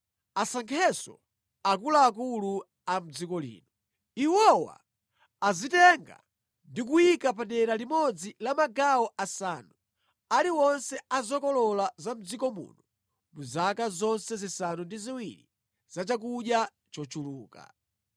Asankhenso akuluakulu a mʼdziko lino. Iwowa azitenga ndi kuyika padera limodzi la magawo asanu aliwonse a zokolola za mʼdziko muno mu zaka zonse zisanu ndi ziwiri za chakudya chochuluka.